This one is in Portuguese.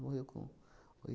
Morreu com